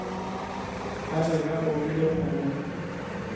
ba be ba opile kgomo